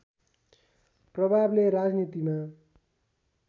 प्रभावले राजनीतिमा